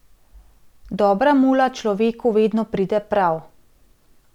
Dobra mula človeku vedno pride prav.